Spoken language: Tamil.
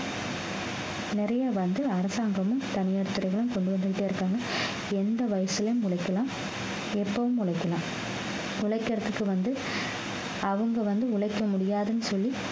நிறைய வந்து அரசாங்கமும் தனியார் துறையிலும் கொண்டு வந்துட்டே இருக்காங்க எந்த வயசிலேயும் உழைக்கலாம் எப்பவும் உழைக்கலாம் உழைக்கிறதுக்கு வந்து அவங்க வந்து உழைக்க முடியாதுன்னு சொல்லி